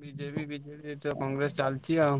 BJP, BJD Congress ଚାଲଚି ଆଉ।